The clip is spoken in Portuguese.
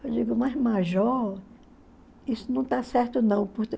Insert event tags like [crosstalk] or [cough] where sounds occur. Eu digo, [unintelligible] major, isso não está certo não. [unintelligible]